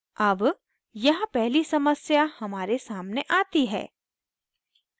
अब यहाँ पहली समस्या हमारे सामने आती है